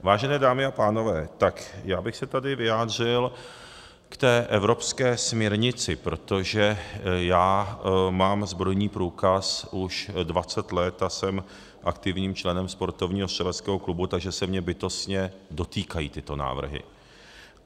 Vážené dámy a pánové, tak já bych se tady vyjádřil k té evropské směrnici, protože já mám zbrojní průkaz už 20 let a jsem aktivním členem sportovního střeleckého klubu, takže se mě bytostně dotýkají tyto návrhy.